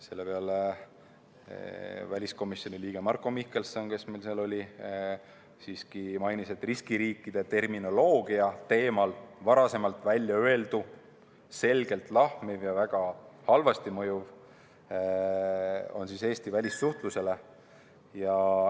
Selle peale väliskomisjoni liige Marko Mihkelson, kes meil seal oli, siiski mainis, et riskiriikide termini teemal varem väljaöeldu on selgelt lahmiv ja mõjub väga halvasti Eesti välissuhtlusele.